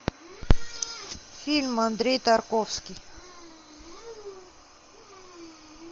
фильм андрей тарковский